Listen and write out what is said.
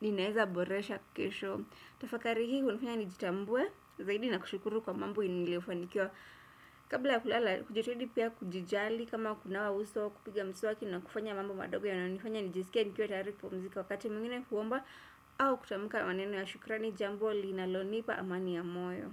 ninaeza boresha kesho tafakari hii hunifanya nijitambuwe zaidi na kushukuru kwa mambo niliyofanikiwa kabla ya kulala hujitahidi pia kujijali kama kunawa uso kupiga mswaki na kufanya mambo madogo yanayonifanya nijisikie nikiwa tayari kupumzika wakati mwingine huomba au kutamuka maneno ya shukrani jambo linalonipa amani ya moyo.